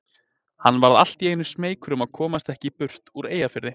Hann varð allt í einu smeykur um að komast ekki burt úr Eyjafirði.